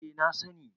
eh na sani